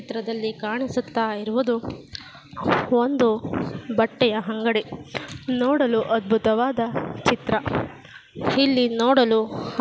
ಚಿತ್ರದಲ್ಲಿ ಕಾಣಿಸುತ್ತಾಯಿರುವುದು ಒಂದು ಬಟ್ಟೆ ಅಂಗಡಿ ನೋಡಲು ಅದ್ಬುತವಾದ ಚಿತ್ರ ಇಲ್ಲಿ ನೋಡಲು--